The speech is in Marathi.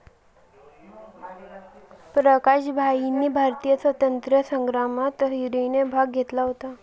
प्रकाश भाईंनी भारतीय स्वातंत्र्य संग्रामात हिरिरीने भाग घेतला होता